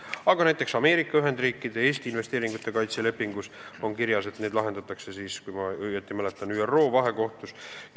Aga näiteks Ameerika Ühendriikide ja Eesti investeeringute kaitse lepingus on kirjas, et vaidlused lahendatakse, kui ma õigesti mäletan, ÜRO vahekohtus.